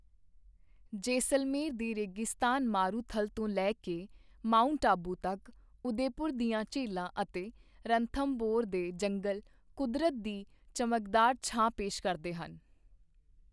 ਜੈਸਲਮੇਰ ਦੇ ਰੇਗਿਸਤਾਨ ਮਾਰੂਥਲ ਤੋਂ ਲੈ ਕੇ ਮਾਊਂਟ ਆਬੂ ਤੱਕ, ਉਦੈਪੁਰ ਦੀਆਂ ਝੀਲਾਂ ਅਤੇ ਰਣਥੰਭੌਰ ਦੇ ਜੰਗਲ ਕੁਦਰਤ ਦੀ ਚਮਕਦਾਰ ਛਾਂ ਪੇਸ਼ ਕਰਦੇ ਹਨ।